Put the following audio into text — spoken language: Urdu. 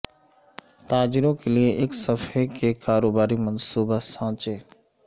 تاجروں کے لئے ایک صفحے کے کاروباری منصوبہ سانچے